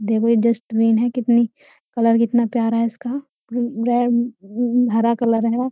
देखो ये डस्टबिन है। कितनी कलर कितना प्यारा है इसका उम्म रेड उम्म हरा कलर है।